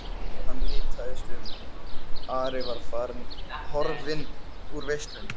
Hann litaðist um, Ari var farinn, horfinn úr veislunni.